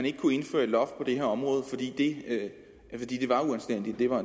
ikke kunne indføre et loft på det her område fordi det var uanstændigt det var